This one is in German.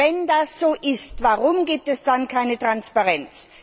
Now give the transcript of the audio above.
Wenn das so ist, warum gibt es dann keine Transparenz?